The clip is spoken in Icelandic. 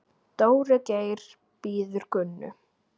Dóri Geir bíður Gunnu.